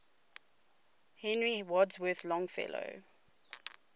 henry wadsworth longfellow